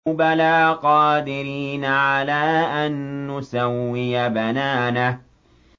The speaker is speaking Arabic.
بَلَىٰ قَادِرِينَ عَلَىٰ أَن نُّسَوِّيَ بَنَانَهُ